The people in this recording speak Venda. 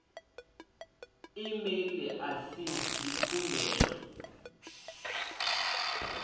e mail a si dzikhumbelo